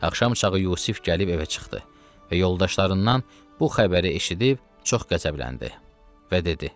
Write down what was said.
Axşamçağı Yusif gəlib evə çıxdı və yoldaşlarından bu xəbəri eşidib çox qəzəbləndi və dedi: